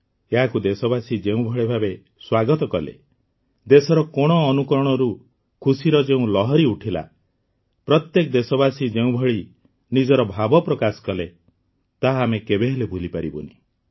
ଏହାକୁ ଦେଶବାସୀ ଯେଉଁଭଳି ଭାବେ ସ୍ୱାଗତ କଲେ ଦେଶର କୋଣଅନୁକୋଣରୁ ଖୁସିର ଯେଉଁ ଲହରି ଉଠିଲା ପ୍ରତ୍ୟେକ ଦେଶବାସୀ ଯେଉଁଭଳି ନିଜର ଭାବ ପ୍ରକାଶ କଲେ ତାହା ଆମେ କେବେହେଲେ ଭୁଲିପାରିବୁନି